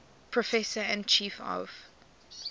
professor and chief of